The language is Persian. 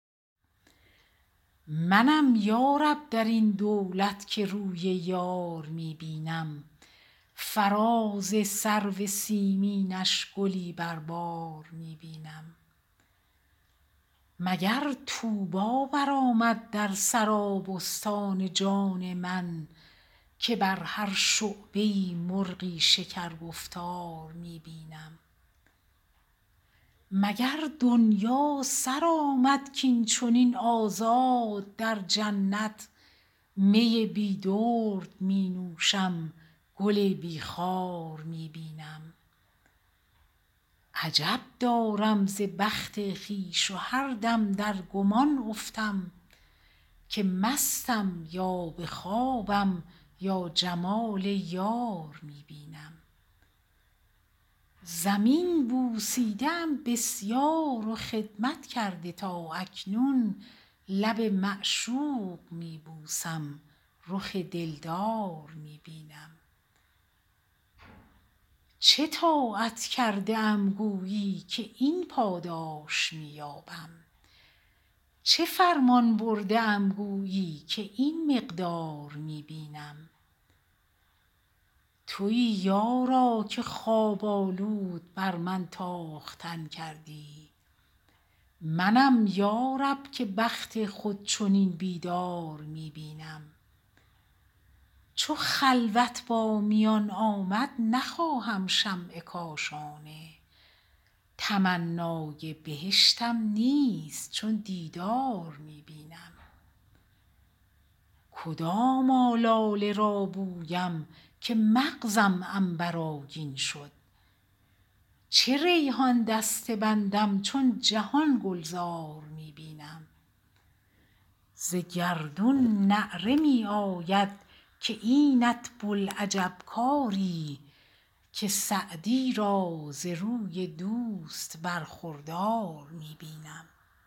منم یا رب در این دولت که روی یار می بینم فراز سرو سیمینش گلی بر بار می بینم مگر طوبی برآمد در سرابستان جان من که بر هر شعبه ای مرغی شکرگفتار می بینم مگر دنیا سر آمد کاین چنین آزاد در جنت می بی درد می نوشم گل بی خار می بینم عجب دارم ز بخت خویش و هر دم در گمان افتم که مستم یا به خوابم یا جمال یار می بینم زمین بوسیده ام بسیار و خدمت کرده تا اکنون لب معشوق می بوسم رخ دلدار می بینم چه طاعت کرده ام گویی که این پاداش می یابم چه فرمان برده ام گویی که این مقدار می بینم تویی یارا که خواب آلود بر من تاختن کردی منم یا رب که بخت خود چنین بیدار می بینم چو خلوت با میان آمد نخواهم شمع کاشانه تمنای بهشتم نیست چون دیدار می بینم کدام آلاله می بویم که مغزم عنبرآگین شد چه ریحان دسته بندم چون جهان گلزار می بینم ز گردون نعره می آید که اینت بوالعجب کاری که سعدی را ز روی دوست برخوردار می بینم